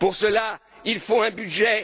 Pour cela, il faut un budget.